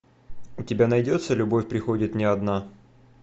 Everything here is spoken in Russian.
у тебя найдется любовь приходит не одна